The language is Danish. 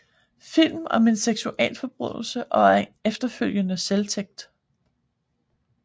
Film om en seksualforbrydelse og en efterfølgende selvtægt